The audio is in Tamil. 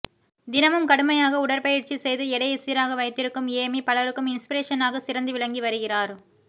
தினமும் கடுமையாக உடற்பயிற்சி செய்து எடையை சீராக வைத்திருக்கும் ஏமி பலருக்கும் இன்ஸபிரேஷனாக சிறந்து விளங்கி வருகிறார்